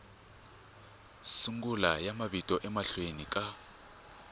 sungula ya mavito emahlweni ka